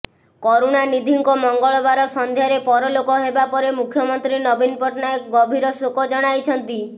କରୁଣାନିଧିଙ୍କ ମଙ୍ଗଳବାର ସନ୍ଧ୍ୟାରେ ପରଲୋକ ହେବା ପରେ ମୁଖ୍ୟମନ୍ତ୍ରୀ ନବୀନ ପଟ୍ଟନାୟକ ଗଭୀର ଶୋକ ଜଣାଇଛନ୍ତି